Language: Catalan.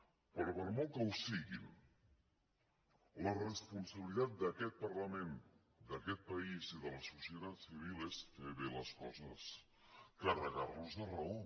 però per molt que ho siguin la responsabilitat d’aquest parlament d’aquest país i de la societat civil és fer bé les coses carregar nos de raó